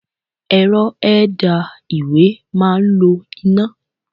Ẹ̀rọ ẹ̀dà ìwé máa ń lo iná.